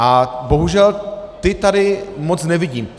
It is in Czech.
A bohužel ta tady moc nevidím.